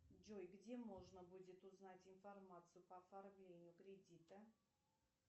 джой где можно будет узнать информацию по оформлению кредита